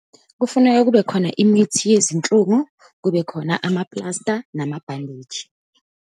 Kufuneka kube khona imithi yezinhlungu, kube khona amapulasta, namabhandeji.